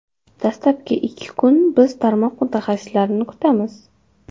Dastlabki ikki kun biz tarmoq mutaxassislarini kutamiz.